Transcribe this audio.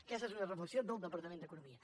aquesta és una reflexió del departament d’economia